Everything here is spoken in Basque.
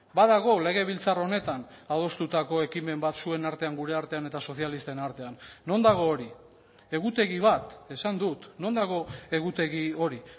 badago legebiltzar honetan adostutako ekimen batzuen artean gure artean eta sozialisten artean non dago hori egutegi bat esan dut non dago egutegi hori